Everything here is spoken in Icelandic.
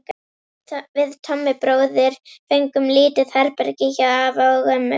Við Tommi bróðir fengum lítið herbergi hjá afa og ömmu.